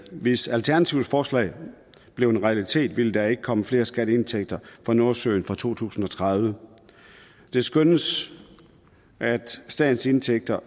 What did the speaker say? hvis alternativets forslag blev en realitet ville der ikke komme flere skatteindtægter fra nordsøen fra to tusind og tredive det skønnes at statens indtægter